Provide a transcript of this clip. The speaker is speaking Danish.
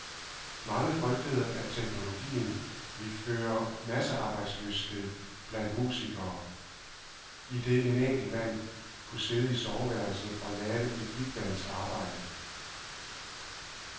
Mange frygtede, at teknologien ville føre til massearbejdsløshed blandt musikere, idet en enkelt mand kunne sidde i soveværelset og lave et bigbands arbejde.